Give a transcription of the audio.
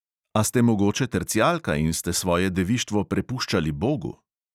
A ste mogoče tercijalka in ste svoje devištvo prepuščali bogu?